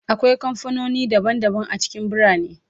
Akwai kamfanoni daban-daban a cikin birane